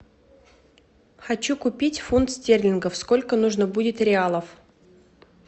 хочу купить фунт стерлингов сколько нужно будет реалов